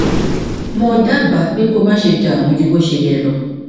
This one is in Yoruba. mo dábàá pé kí o máṣe dààmú ju bó ṣe yẹ lọ